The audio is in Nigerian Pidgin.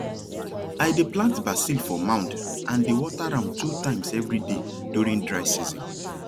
i dey plant basil for mound and dey water am two times every day during dry season